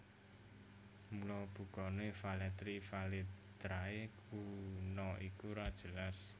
Mula bukané Velletri Velitrae kuna iku ora jelas